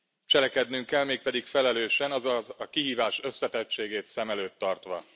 Cselekednünk kell, mégpedig felelősen, azaz a kihívás összetettségét szem előtt tartva.